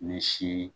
Ni si